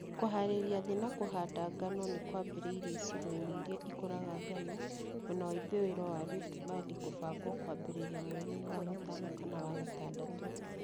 Kũhaarĩria thĩ na kũhanda ngano nĩ kwambĩrĩirie icigo-inĩ iria ikũraga ngano. Mwena wa ithũĩro wa Rift kũbangwo kwambĩrĩrie mweri-inĩ wa gatano kana wagatadatũ.